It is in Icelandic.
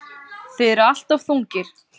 Þið eruð alltof þungir.